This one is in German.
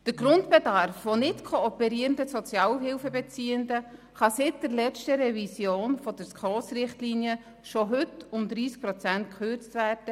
Der Grundbedarf von nicht-kooperierenden Sozialhilfebeziehenden kann seit der letzten Revision der SKOS-Richtlinien bereits heute um 30 Prozent gekürzt werden.